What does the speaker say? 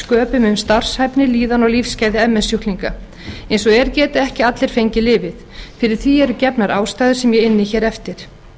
sköpum um starfshæfni líðan og lífsgæði ms sjúklinga eins og er geta ekki allir fengið lyfið fyrir því eru gefnar ástæður sem ég inni hér eftir